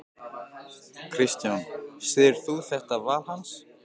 Kristján: Styður þú þetta val hans?